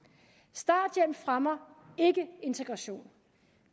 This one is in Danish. starthjælp fremmer ikke integration